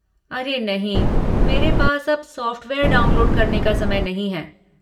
अरे नहीं, मेरे पास अब सॉफ़्टवेयर डाउनलोड करने का समय नहीं है।